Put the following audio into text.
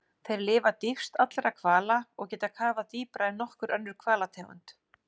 Þeir lifa dýpst allra hvala og geta kafað dýpra en nokkur önnur hvalategund.